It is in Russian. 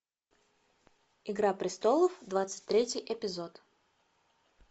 игра престолов двадцать третий эпизод